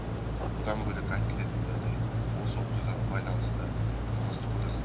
бұдан бөлек айта кететін жағдай осы оқиғаға байланысты қылмыстық кодекстің